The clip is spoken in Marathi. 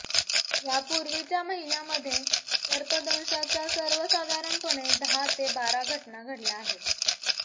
यापूर्वीच्या महिन्यामध्ये सर्पदंशाच्या सर्वसाधारणपणे दहा ते बारा घटना घडल्या आहेत